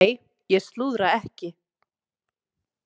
Nei, ég slúðra ekki.